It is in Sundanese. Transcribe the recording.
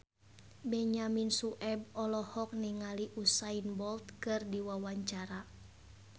Benyamin Sueb olohok ningali Usain Bolt keur diwawancara